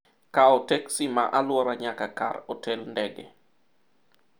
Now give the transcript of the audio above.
kawo teksi ma alwora nyaka kar otel ndege